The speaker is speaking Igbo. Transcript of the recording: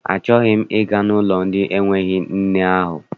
Achọghị m ịga n'ụlọ ndị na-enweghị nne ahụ.